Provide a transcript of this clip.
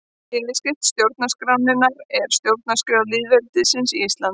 Yfirskrift stjórnarskrárinnar er Stjórnarskrá lýðveldisins Íslands.